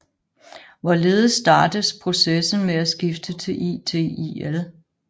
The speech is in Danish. Hvorledes startes processen med at skifte til ITIL